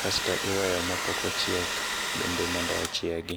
kasto iweyo mapok ochiek bende mondo ochiegi.